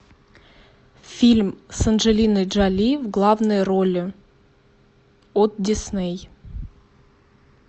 фильм с анджелиной джоли в главной роли от дисней